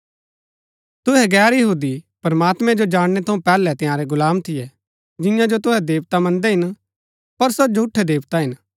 तुहै गैर यहूदी प्रमात्मैं जो जाणनै थऊँ पैहलै तंयारै गुलाम थियै जिन्या जो तुहै देवता मन्दै हिन पर सो झूठै देवता हिन